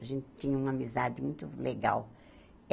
A gente tinha uma amizade muito legal. Eh